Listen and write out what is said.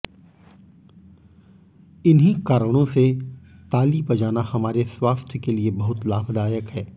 इन्हीं कारणों से ताली बजाना हमारे स्वास्थ्य के लिए बहुत लाभदायक है